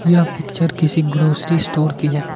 यह पिक्चर किसी grocery store की है।